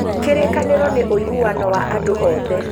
kĩrĩkanĩro nĩ ũiguano wa andũ othe